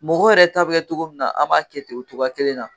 Mɔgɔ yɛrɛ ta bɛ kɛ cogo min na an b'a kɛ ten o cogoya kelen na.